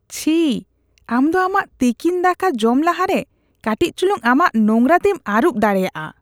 ᱪᱷᱤ ! ᱟᱢ ᱫᱚ ᱟᱢᱟᱜ ᱛᱤᱠᱤᱱ ᱫᱟᱠᱟ ᱡᱚᱢ ᱞᱟᱦᱟᱨᱮ ᱠᱟᱹᱴᱤᱡ ᱪᱩᱞᱩᱝ ᱟᱢᱟᱜ ᱱᱳᱝᱨᱟ ᱛᱤᱢ ᱟᱹᱨᱩᱵ ᱫᱟᱲᱮᱭᱟᱜᱼᱟ ᱾